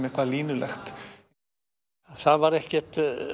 eitthvað línulegt það var ekki